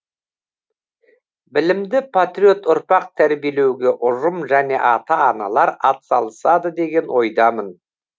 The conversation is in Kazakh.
білімді патриот ұрпақ тәрбиелеуге ұжым және ата аналар атсалысады деген ойдамын